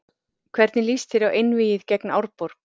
Hvernig lýst þér á einvígið gegn Árborg?